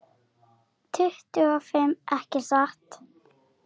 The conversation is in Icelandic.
Tuttugu og fimm, ekki satt?